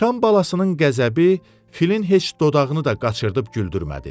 Sıçan balasın qəzəbi filin heç dodağını da qaçırıb güldürmədi.